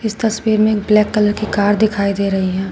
तस्वीर में एक ब्लैक कलर की कार दिखाई दे रही है।